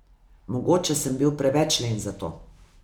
Mogoče sem bil preveč len za to.